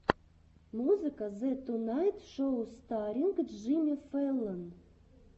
музыка зе тунайт шоу старринг джимми фэллон